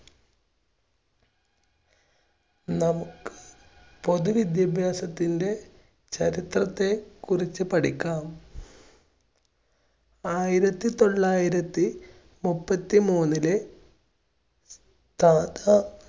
നമുക്ക് പൊതു വിദ്യാഭ്യാസത്തിൻറെ ചരിത്രത്തെക്കുറിച്ച് പഠിക്കാം. ആയിരത്തി തൊള്ളായിരത്തി മുപ്പത്തി മൂന്നില്